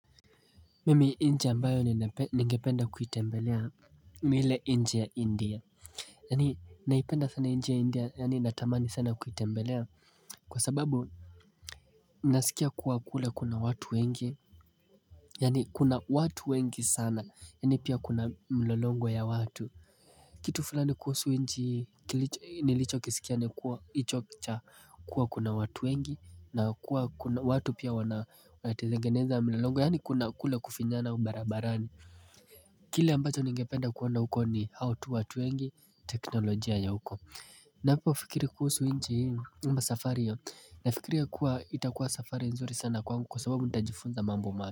Mimi nchi ambayo ningependa kuitembelea ni ile nchi ya India, yani naipenda sana nchi ya India yani natamani sana kuitembelea kwa sababu nasikia kuwa kule kuna watu wengi Yaani kuna watu wengi sana, yaani pia kuna mlolongo wa watu, Kitu fulani kuhusu nchi hii nilicho kisikia ni kuwa hicho cha, kuwa kuna watu wengi na kuwa kuna watu pia wanatengeneza mlolongo, yaani kuna kule kufinyana barabarani Kile ambacho ningependa kuona huko, ni hao tu watu wengi, teknolojia ya huko ninapofikiri kuhusu nchi hii, ama safari hiyo, nafikiria kuwa itakuwa safari nzuri sana kwangu kwa sababu nitajifunza mambo mapya.